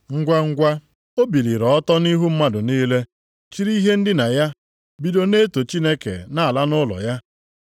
Ngwangwa, o biliri ọtọ nʼihu mmadụ niile, chịrị ihe ndina ya bido na-eto Chineke na-ala nʼụlọ ya.